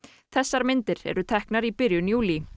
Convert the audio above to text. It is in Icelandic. þessar myndir eru teknar í byrjun júlí